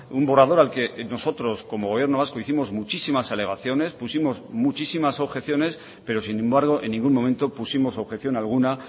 un borrador al que nosotros como gobierno vasco hicimos muchísimas alegaciones pusimos muchísimas objeciones pero sin embargo en ningún momento pusimos objeción alguna